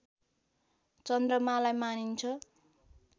चन्द्रमालाई मानिन्छ